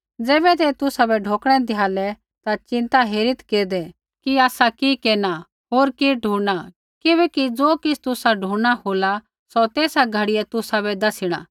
ज़ैबै ते तुसाबै ढोकणै द्यालै ता चिन्ता हेरित्त् केरदै कि आसा कि केरना होर कि ढुणना किबैकि ज़ो किछ़ तुसा ढुणना होला सौ तेसा घड़ियै तुसाबै दसिणा